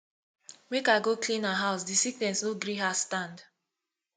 make i go clean her house di sickness no gree her stand